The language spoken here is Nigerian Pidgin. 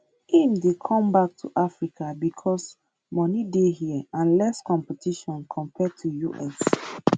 im dey come back to africa becos money dey hia and less competition compared to us